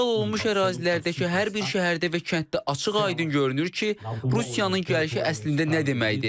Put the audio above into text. İşğal olunmuş ərazilərdəki hər bir şəhərdə və kənddə açıq-aydın görünür ki, Rusiyanın gəlişi əslində nə deməkdir.